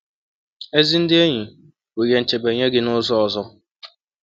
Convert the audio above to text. Ezi ndị enyi bụ ihe nchebe nye gị n’ụzọ ọzọ.